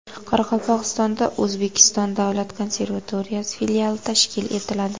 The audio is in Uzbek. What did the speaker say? Qoraqalpog‘istonda O‘zbekiston davlat konservatoriyasi filiali tashkil etiladi.